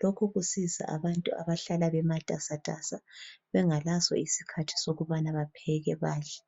lokhu kusiza abantu abahlala bematasatasa bengelaso isikhathi sokhbana bapheke badle.